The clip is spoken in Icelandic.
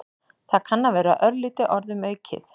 Það kann að vera örlítið orðum aukið.